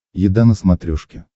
еда на смотрешке